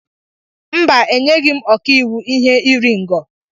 Mba, enyeghị m ọkàiwu ihe iri ngo.